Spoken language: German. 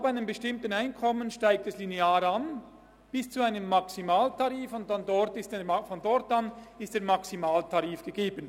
Ab einem bestimmten Einkommen steigt der Tarif linear bis zu einem Maximaltarif an, und von dort an ist der Maximaltarif gegeben.